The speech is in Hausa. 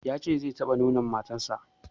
Ya ce zai taɓa nonon matan sa